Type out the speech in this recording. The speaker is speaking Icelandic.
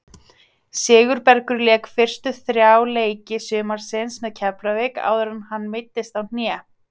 Sigurbergur lék fyrstu þrjá leiki sumarsins með Keflavík áður en hann meiddist á hné.